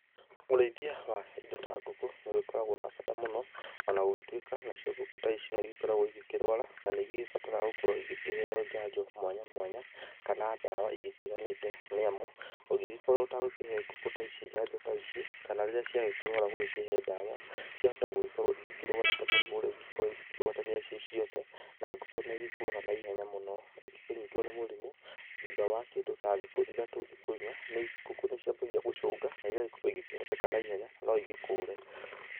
Ũrĩithia wa indo ta ngũkũ nĩ ũgĩkoragwo na bata mũno, ona gũgĩtuĩka nacio ngũkũ ta ici no ĩgĩkoragwo ĩgĩkĩrwara na nĩ igĩbataraga gũkorwo igĩkĩheo njanjo mwanya mwanya kana dawa igĩtiganĩte nĩ amu ungĩgĩkorwo ũtagũkĩhe ngũkũ ta ici njanjo ta ici kana rĩrĩa cia gĩkĩrwara gũgĩcihe dawa ciahota gũgĩkorwo igĩkĩrwarĩte mũrimũ ũrĩa ingĩgĩkorwo ikĩgwatania ciĩ ciothe, na ngũkũ nĩ igĩkuaga naihenya mũno, ĩngĩkĩnyitwo nĩ mũrimũ thutha wa kĩndu ta thikũ ithatu thikũ inya, ngũkũ nĩciambagia gũcũnga na igagĩkorwo ikĩhoteka naihenya na no igĩkũre.